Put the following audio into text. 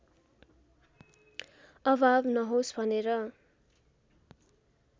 अभाव नहोस् भनेर